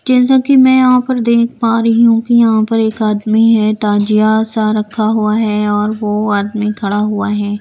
जैसा कि मैं यहां पर देख पा रही हूं कि यहां पर एक आदमी है ताजिया सा रखा हुआ है और वो आदमी खड़ा हुआ है।